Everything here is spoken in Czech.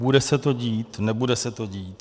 Bude se to dít, nebude se to dít?